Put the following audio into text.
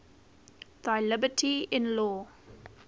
thy liberty in law